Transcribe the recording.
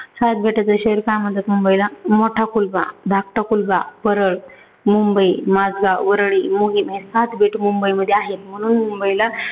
सात बेटांचं शहर का म्हणतात मुंबईला? मोठा कुलबा, धाकटा कुलबा, परळ, मुंबई, माजगांव, वरळी, माहीम हे सात बेट मुंबईमध्ये आहेत म्हणून मुंबईला